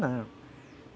Não...